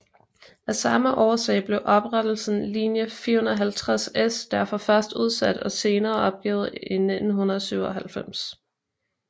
Af samme årsag blev oprettelsen linje 450S derfor først udsat og senere helt opgivet i 1997